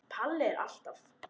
Palli alltaf.